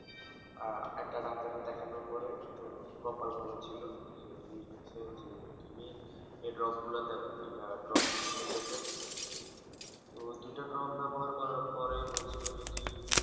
আহ একটা Doctor রে দেখানোর পরে তো কপাল ভালো ছিল তো উনি বলছে যে তুমি এ Drop গুলা দাও যেটা Drop দিছিলা চোখের তো দুটো Drop ব্যবহার করার পরে বলছিলো যদি